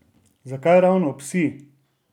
Zakaj ravni psi?